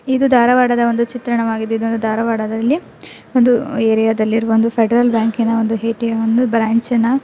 ಇದು ಧಾರವಾಡದ ಒಂದು ಚಿತ್ರಣವಾಗಿದೆ ಇದು ದಾರವಾಡದಲ್ಲಿ ಇರುವ. ಒಂದು ಏರಿಯಾದಲ್ಲಿರುವ ಫೆಡರಲ್ ಬ್ಯಾಂಕ್ ನ ಎ ಟಿ ಎಂ ನ ಒಂದು ಬ್ರಾಂಚ್ --